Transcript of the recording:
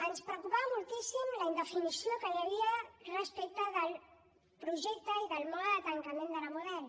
ens preocupava moltíssim la indefinició que hi havia respecte del projecte i de la forma de tancament de la model